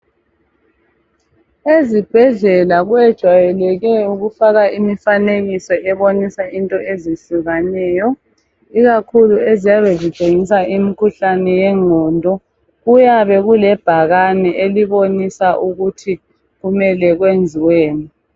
Ezibhedlela kwejayeleke ukufakwa imifanekiso ebonisa into ezihlukaneyo, ikakhulu eziyabe zitshengisa imikhuhlane yengqondo. Kuyabe kulebhakane elibonisa ukuthi kumele kuyenziweni.